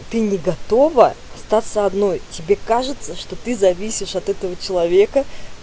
ты не готова остаться одной тебе кажется что ты зависишь от этого человека